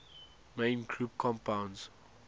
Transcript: main group compounds